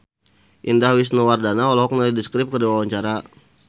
Indah Wisnuwardana olohok ningali The Script keur diwawancara